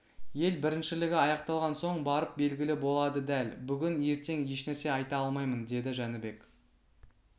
ел біріншілігі аяқталған соң барып белгілі болады дәл бүгін ертең ешнәрсе айта алмаймын деді жәнібек